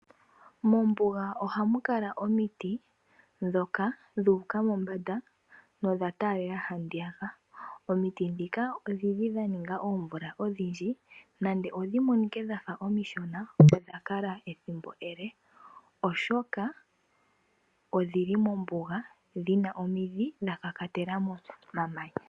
Mombuga ohamu kala omiti ndhoka dhu uka mombanda nodha taalela handiyaka. Omiti ndhika odhili dha ninga oomvula odhindji nande odhi monike dhafa omishona odha kala ethimbo ele oshoka odhili mombuga dhina omidhi dha kakatela momamanya.